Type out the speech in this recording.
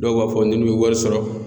Dɔw b'a fɔ n'u ye wari sɔrɔ.